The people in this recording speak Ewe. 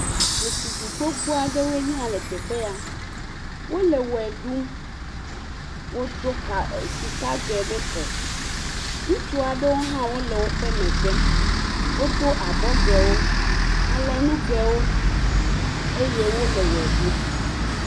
Ɖetugbui gbogbo aɖewoe nye ya le teƒe ya. Wole wɔe ɖum. Wodo sikage ɖe kɔ. Ŋutsu aɖewo hã wole woƒe megbe. Wodo abɔgewo. Alɔnugewo eye wole wɔe ɖum.